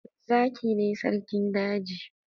Zaki ne sarkin daji?